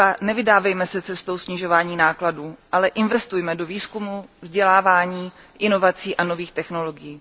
Nevydávejme se cestou snižování nákladů, ale investujme do výzkumu, vzdělávání, inovací a nových technologií.